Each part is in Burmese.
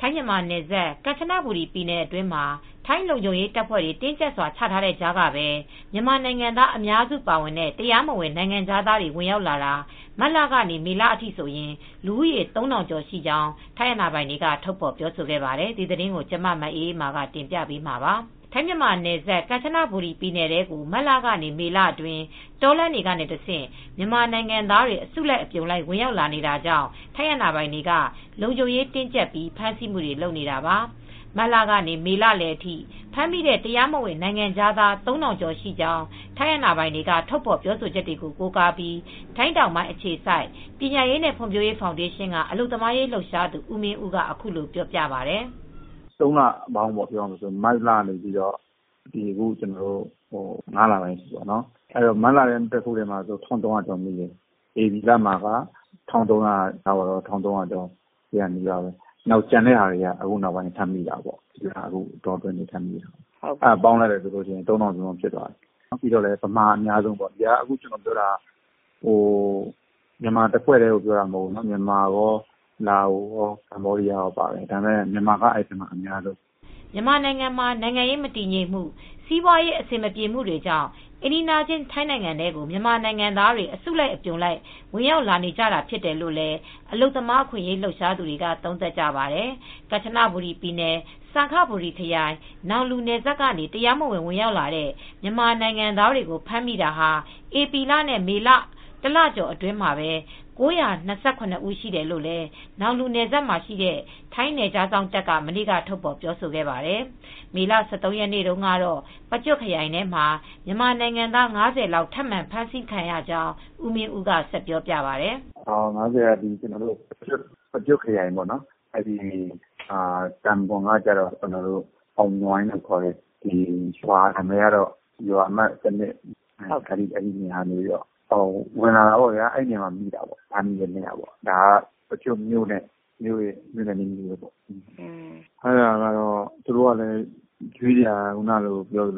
ထိုင်း-မြန်မာနယ်စပ် ကန်ချနဘူရီပြည်နယ်အတွင်းမှာ ထိုင်းလုံခြုံရေးတပ်ဖွဲ့တွေ တင်းကျပ်စွာ ချထားတဲ့ကြားကပဲ မြန်မာနိုင်ငံသား အများစုပါတဲ့ တရားမဝင် နိုင်ငံခြားသားတွေ ဝင်ရောက်လာတာ မတ်လကနေ မေလအထိဆိုရင် လူဦးရေ ၃,၀၀၀ ကျော်ရှိကြောင်း ထိုင်းအာဏာပိုင်တွေက ထုတ်ဖော်ပြောဆိုပါတယ်။ အပြည့်အစုံကို မအေးအေးမာ တင်ပြပေးထားပါတယ်။ ထိုင်း-မြန်မာနယ်စပ် ကန်ချနဘူရီပြည်နယ်ထဲကို မတ်လကနေ မေလအတွင်း တောလမ်းတွေကနေတဆင့် မြန်မာနိုင်ငံသားတွေ အစုလိုက် အပြုံလိုက် ဝင်ရောက်လာနေတာကြောင့် ထိုင်းအာဏာပိုင်တွေက လုံခြုံရေးတင်းကျပ်ပြီး ဖမ်းဆီးမှုတွေ လုပ်နေတာပါ။ မတ်လကနေ မေလလယ်အထိ ဖမ်းမိတဲ့ တရားမဝင် နိုင်ငံခြားသား ၃,၀၀၀ ကျော်ရှိကြောင်း ထိုင်းအာဏာပိုင်တွေက ထုတ်ဖော်ပြောဆိုချက်ကို ကိုးကားပြီး ထိုင်းတောင်ပိုင်းအခြေစိုက် ပညာရေးနဲ့ ဖွံ့ဖြိုးရေးဖောင်ဒေးရှင်းက အလုပ်သမားရေး လှုပ်ရှားသူ ဦးမင်းဦးက အခုလိုပြောပါတယ်။ “၃ လပေါင်းပေါ့၊ မတ်ကနေ အခု ၅ လပိုင်းအထိပေါ့၊ မတ်လထဲမှာ ၁,၃၀၀ ကျော်မိတယ်၊ ဧပြီလထဲမှာပဲ ၁,၃၀၀ ကျော် ၁,၄၀၀ နီးပါးပဲ၊ ကျန်တဲ့ဟာတွေက အခုနောက်ပိုင်း ထပ်မိတာပေါ့၊ အဲဒါပေါင်းလိုက်ရင် ၃,၀၀၀ ကျော်တယ်။ အဲဒီထဲမှာ မြန်မာအများဆုံးပဲ။ ကျနော်ပြောတာက မြန်မာတဖွဲ့တည်းကို ပြောတာမဟုတ်ဘူး။ မြန်မာရော လာအိုရော ကမ္ဘောဒီးယားရော အားလုံးကိုပြောတာပါ၊ မြန်မာကတော့ အများဆုံးပေါ့။” မြန်မာနိုင်ငံမှာ နိုင်ငံရေးမတည်ငြိမ်မှု၊ စီးပွားရေး အဆင်မပြေမှုတွေကြောင့် အိမ်နီးချင်း ထိုင်းနိုင်ငံထဲကို မြန်မာနို်င်ငံသားတွေ အစုလိုက်အပြုံလိုက် ဝင်ရောက်လာနေကြတာ ဖြစ်တယ်လို့လည်း အလုပ်သမား အခွင့်အရေး လှုပ်ရှားသူတွေက သုံးသပ်ကြပါတယ်။ ကန်ချနဘူရီပြည်နယ် စံခဘူရီခရိုင် နောင်လူနယ်စပ်ကနေ တရားမဝင် ဝင်ရောက်လာတဲ့ မြန်မာနို်င်ငံသားများကို ဖမ်းမိတာဟာ ဧပြီလနဲ့ မေလ တလကျော်အတွင်း လူဦးရေ ၉၂၇ ဦးရှိတယ်လို့လည်း နောင်လူနယ်စပ်မှာရှိတဲ့ ထိုင်းနယ်ခြားစောင့်တပ်က မနေ့က ထုတ်ဖော်ပြောဆိုခဲ့ပါတယ်။ မေလ ၁၃ ရက်နေ့ကတော့ ပကျွတ်ခရိုင်ထဲမှာ မြန်မာနိုင်ငံသား ၅၀ လောက် ထပ်မံဖမ်းဆီးခံရကြောင်း ဦးမင်းဦးက ဆက်ပြောပြပါတယ်။ “၅၀ ကတော့ ပကျွတ်ခရိုင် တာဘွန် (ကျေးရွာအုပ်စု) ကတော့ အောင်နွိုင်းလို့ခေါ်တယ်။ ရွာကတော့ ရွာအမှတ် ၁၂၊ အဲဒီနေရာကနေ ဝင်လာတာပေါ့ဗျာ၊ အဲဒီနေရာမှာ မိတာပေါ့။ ဖမ်းမိတာ ဒါက ပကျွတ်မြို့နယ်၊ မြို့နဲ့နီးနီးပေါ့၊ သူတို့ကလည်း မိတာကလည်း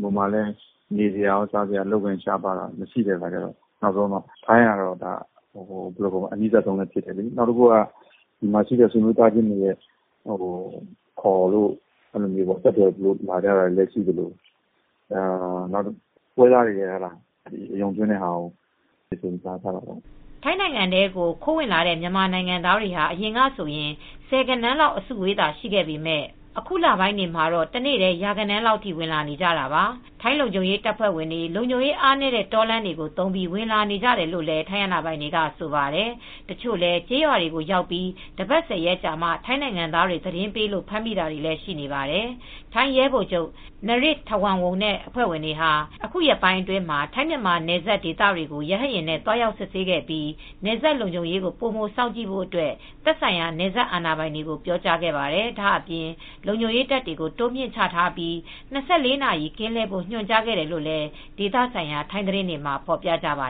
ဟိုမှာကလည်း နေစရာ စားစရာရော အလုပ်အကိုင် ရှားပါးတာတွေ၊ အလုပ်တွေ မရှိတဲ့အခါကျတော့ ထိုင်းကလည်း အနီးဆုံးဖြစ်နေတယ်လေ။ နောက်တခုက ဒီမှာရှိတဲ့ ဆွေမျိုးသားချင်းတွေ ခေါ်လို့ ဆက်သွယ်ပြီးတော့လည်း လာကြတာမျိုး။ နောက်တခုကတော့ ပွဲစားတွေက အယုံသွင်းတာကို မိပြီး လာကြတာပေါ့။” ထိုင်းကိုခိုးဝင်လာတဲ့ မြန်မာနိုင်ငံသားတွေဟာ အရင်ကဆိုရင် ဆယ်ဂဏန်းလောက် အစုအဝေးသာ ရှိခဲ့ပေမယ့် အခုလပိုင်းတွေမှာတော့ တနေ့တည်း ရာဂဏန်းလောက်ထိ ဝင်လာနေကြတာပါ။ ထိုင်းလုံခြုံရေးတပ်ဖွဲ့တွေ လုံခြုံရေးအားနည်းတဲ့ တောလမ်းတွေကို သုံးပြီး ဝင်နေကြတာလို့လည်း ထိုင်းအာဏာပိုင်တွေက ဆိုပါတယ်။ တချို့လည်း ကျေးရွာတွေကိုရောက်ပြီး တပတ် ၁၀ ရက်ကြာမှ ထိုင်းနိုင်ငံသားတွေက သတင်းပေးလို့ ဖမ်းမိတာတွေလည်း ရှိနေပါတယ်။ ထိုင်းရဲဗိုလ်ချုပ် Narit Thawornwong နဲ့ အဖွဲ့ဝင်တွေဟာ အခုရက်ပိုင်းအတွင်းမှာ ထိုင်း-မြန်မာနယ်စပ်ဒေသတွေကို ရဟတ်ယာဉ်နဲ့ သွားရောက်စစ်ဆေးခဲ့ပြီး နယ်စပ်လုံခြုံရေးကို ပိုမိုစောင့်ကြည့်ဖို့အတွက် သက်ဆိုင်ရာ နယ်စပ်အာဏာပိုင်တွေကို ပြောကြားခဲ့ပါတယ်။ ဒါ့အပြင် လုံခြုံရေးတပ်တွေ တိုးမြှင့်ချထားပြီး ၂၄ နာရီ ကင်းလှည့်ဖို့ ညွှန်ကြားခဲ့တယ်လို့လည်း ဒေသဆိုင်ရာ ထိုင်းသတင်းတွေမှာ ဖော်ပြကြပါ